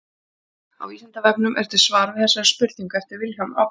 Á Vísindavefnum er til svar við þessari spurningu eftir Vilhjálm Árnason.